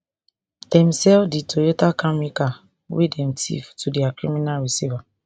dem sell di toyota camry car wey dem tiff to dia criminal receiver